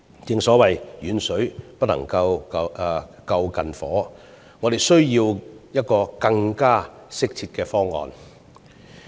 正所謂"遠水不能救近火"，我們需要一個更適切的方案。